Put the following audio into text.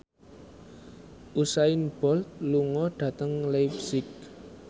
Usain Bolt lunga dhateng leipzig